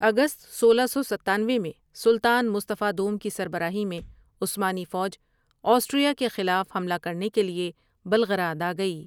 اگست سولہ سو ستانوے میں سلطان مصطفی دوم کی سربراہی میں عثمانی فوج آسٹریا کے خلاف حملہ کرنے کے لیے بلغراد آگئی ۔